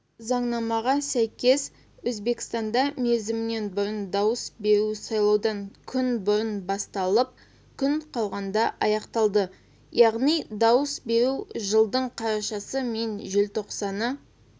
заңнамаға сәйкес өзбекстанда мерзімінен бұрын дауыс беру сайлаудан күн бұрын басталып күн қалғанда аяқталады яғни дауыс беру жылдың қарашасы мен желтоқсаны